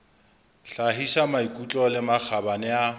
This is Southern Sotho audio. hlahisa maikutlo le makgabane a